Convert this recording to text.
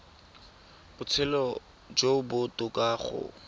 botshelo jo bo botoka go